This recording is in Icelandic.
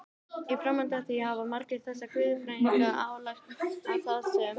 Í framhaldi af því hafa margir þessara guðfræðinga ályktað að þar sem